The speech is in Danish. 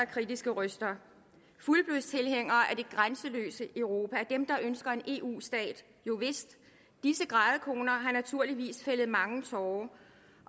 kritiske røster fuldblods tilhængere af det grænseløse europa dem der ønsker en eu stat jovist disse grædekoner har naturligvis fældet mange tårer